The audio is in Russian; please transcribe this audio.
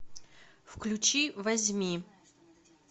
включи возьми